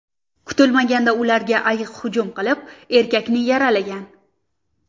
Kutilmaganda ularga ayiq hujum qilib, erkakni yaralagan.